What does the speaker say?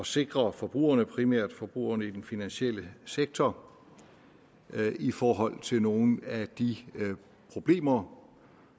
sikre forbrugerne primært forbrugerne i den finansielle sektor i forhold til nogle af de problemer